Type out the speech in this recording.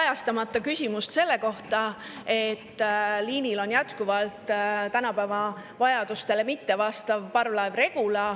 … jätta ka kajastamata küsimust selle kohta, et liinil on jätkuvalt tänapäeva vajadustele mittevastav parvlaev Regula.